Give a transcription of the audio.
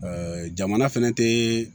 jamana fɛnɛ tɛɛ